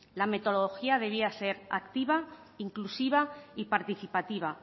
la metodología debía ser activa inclusiva y participativa